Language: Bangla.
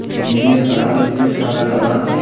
বিল্ডিং -এর কালার রইসে সাদা কালার ।